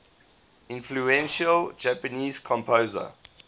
influential japanese composer